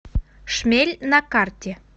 шмель на карте